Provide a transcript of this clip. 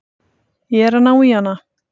Ég er að ná í hana.